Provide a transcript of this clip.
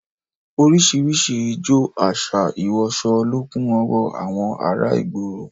Orísìírísìí ijó, àṣà, ìwọsọ lọ kún ọwọ́ àwọn ará ìgboro